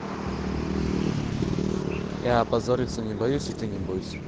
я опозориться не боюсь и ты не бойся